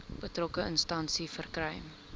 betrokke instansie verkry